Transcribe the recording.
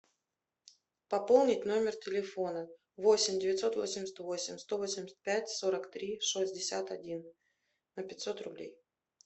пополнить номер телефона восемь девятьсот восемьдесят восемь сто восемьдесят пять сорок три шестьдесят один на пятьсот рублей